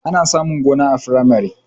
Ana samun gona a firamare